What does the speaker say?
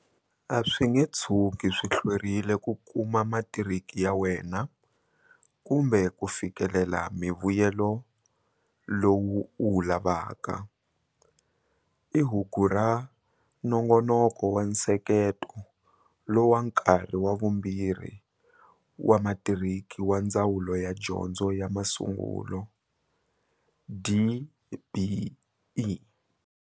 A swi nge tshuki swi hlwerile ku kuma matiriki ya wena kumbe ku fikelela mivuyelo lowu u wu lavaka, i hugura Nongonoko wa Nsekete lo wa Nkarhi wa Vumbirhi wa Matiriki wa Ndzawulo ya Dyondzo ya Masungulo, DBE.